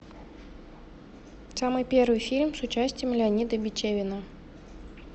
самый первый фильм с участием леонида бичевина